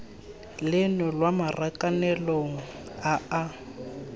leno lwa marakanelong a a